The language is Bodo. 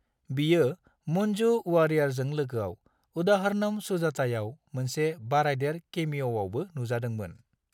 बियो मंजू वारियरजों लोगोआव "उदाहरनम सुजाता" आव मोनसे बारायदेर केमिअआवबो नुजादोंमोन।